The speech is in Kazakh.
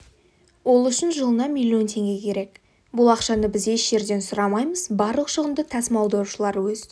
ол үшін жылына миллион теңге керек бұл ақшаны біз еш жерден сұрамаймыз барлық шығынды тасымалдаушылар өз